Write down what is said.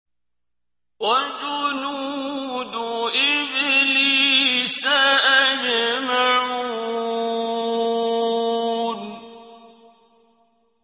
وَجُنُودُ إِبْلِيسَ أَجْمَعُونَ